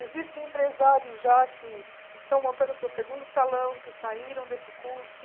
Existem empresários já que estão montando o seu segundo salão, que saíram desse curso.